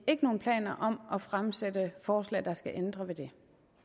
ikke nogen planer om at fremsætte forslag der skal ændre på det